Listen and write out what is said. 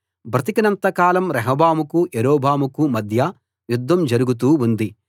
బ్రతికినంత కాలం రెహబాముకూ యరొబాముకూ మధ్య యుద్ధం జరుగుతూ ఉంది